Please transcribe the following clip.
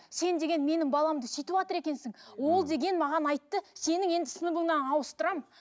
сен деген менің баламды сүйтеватыр екенсің ол деген маған айтты сенің енді сыныбыңнан ауыстырамын